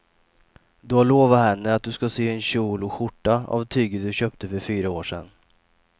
Du har lovat henne att du ska sy en kjol och skjorta av tyget du köpte för fyra år sedan.